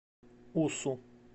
усу